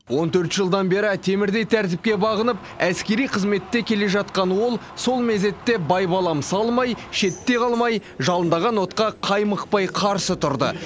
он төрт жылдан бері темірдей тәртіпке бағынып әскери қызметте келе жатқан ол сол мезетте байбалам салмай шетте қалмай жалындаған отқа қаймықпай қарсы тұрды